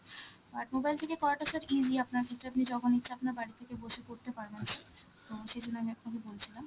আর mobile থেকে করাটা sir easy আপনার যেটা আপনি যখন ইচ্ছা আপনার বাড়ির থেকে বসে করতে পারবেন so সেই জন্য আমি আপনাকে বলছিলাম